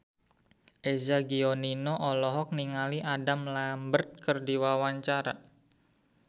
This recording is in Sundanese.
Eza Gionino olohok ningali Adam Lambert keur diwawancara